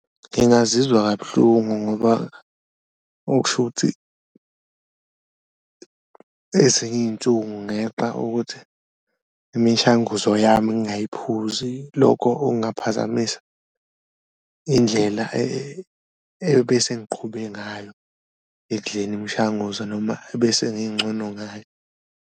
Ngingazizwa kabuhlungu ngoba okusho ukuthi ezinye iy'nsuku ngeqa ukuthi imishanguzo yami ngayiphuzi, lokho okungaphazamisa indlela ebesengiqhube ngayo ekudleni imishanguzo noma ebesengincono ngayo.